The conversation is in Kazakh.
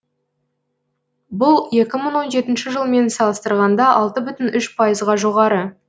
бұл екі мың он жетінші жылмен салыстырғанда алты бүтін үш пайызға жоғары